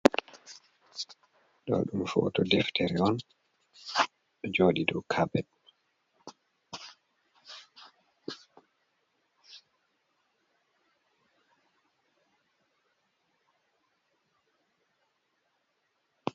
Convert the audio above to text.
Ɗo dum foto deftere on ɗojoɗi dau kapet.